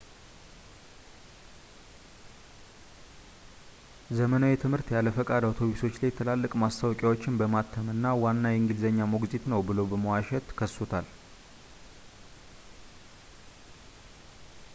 ዘመናዊ ትምህርት ያለ ፈቃድ አውቶቡሶች ላይ ትላልቅ ማስታወቂያዎችን በማተም እና ዋና የእንግሊዝኛ ሞግዚት ነው ብሎ በመዋሸት ከሶታል